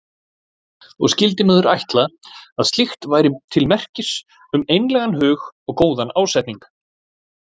Og skyldi maður ætla að slíkt væri til merkis um einlægan hug og góðan ásetning.